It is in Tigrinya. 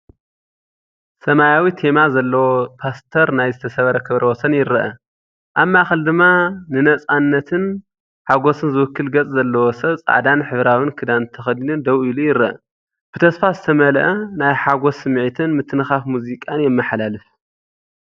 ሰማያዊ ቴማ ዘለዎ ፖስተር ናይ ዝተሰብረ ክብረወሰን ይረአ። ኣብ ማእከል ድማ ንናጽነትን ሓጎስን ዝውክል ገጽ ዘለዎ ሰብ ጻዕዳን ሕብራዊን ክዳን ተኸዲኑ ደው ኢሉ ይርአ። ብተስፋ ዝተመልአ ናይ ሓጎስ ስምዒትን ምትንኻፍ ሙዚቃን የመሓላልፍ።